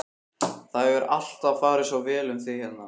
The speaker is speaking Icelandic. Það hefur alltaf farið svo vel um þig hérna.